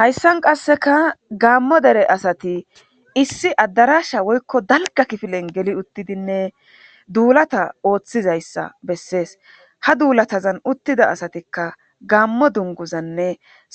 Hayssan qasseka gaammo dere asati issi addarasha woykko dalga kifilen geli uttidinne duulata ooththizayssa bessees ha duulatazan uttida asatikka gaammo dunguzanne